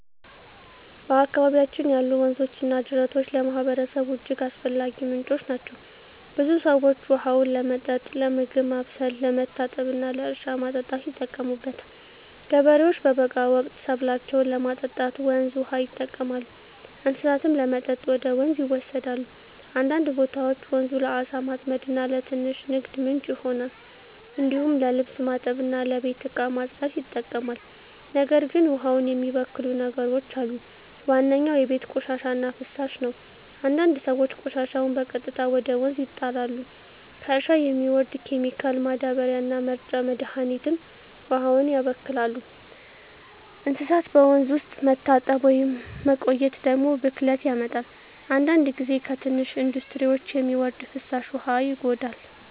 በአካባቢያችን ያሉ ወንዞችና ጅረቶች ለማህበረሰቡ እጅግ አስፈላጊ ምንጮች ናቸው። ብዙ ሰዎች ውሃውን ለመጠጥ፣ ለምግብ ማብሰል፣ ለመታጠብ እና ለእርሻ ማጠጣት ይጠቀሙበታል። ገበሬዎች በበጋ ወቅት ሰብላቸውን ለማጠጣት ወንዝ ውሃ ይጠቀማሉ፣ እንስሳትም ለመጠጥ ወደ ወንዝ ይወሰዳሉ። አንዳንድ ቦታዎች ወንዙ ለዓሣ ማጥመድ እና ለትንሽ ንግድ ምንጭ ይሆናል። እንዲሁም ለልብስ ማጠብ እና ለቤት እቃ ማጽዳት ይጠቅማል። ነገር ግን ውሃውን የሚበክሉ ነገሮች አሉ። ዋነኛው የቤት ቆሻሻ እና ፍሳሽ ነው፤ አንዳንድ ሰዎች ቆሻሻቸውን በቀጥታ ወደ ወንዝ ይጣላሉ። ከእርሻ የሚወርድ ኬሚካል ማዳበሪያ እና መርጫ መድሀኒትም ውሃውን ያበክላሉ። እንስሳት በወንዝ ውስጥ መታጠብ ወይም መቆየት ደግሞ ብክለት ያመጣል። አንዳንድ ጊዜ ከትንሽ ኢንዱስትሪዎች የሚወርድ ፍሳሽ ውሃ ይጎዳል።